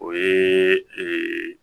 O ye ee